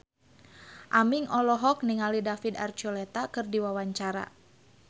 Aming olohok ningali David Archuletta keur diwawancara